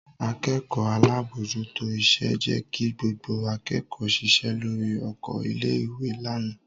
Akẹ́kọ̀ọ́ alábòójútó iṣẹ́ jẹ́ kí gbogbo akẹ́kọ̀ọ́ ṣiṣẹ́ lórí oko ilé-ìwé lánàá.